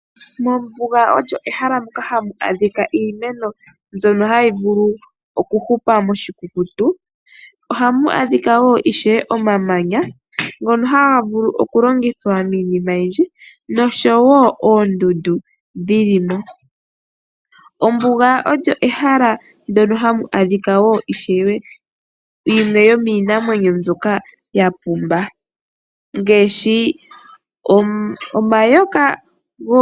Ombuga olyo ehala moka hamu adhika iimeno mbyono hayi vulu okuhupa muukukutu. Ohamu adhika wo ishewe omamanya ngono haga lu okulongithwa miinima oyindji noshowo oondundu dhi li mo. Ombuga olyo ehala hamu adhika ishewe yimwe yomiinamwenyo mbyoka ya pumba ngaashi omayoka.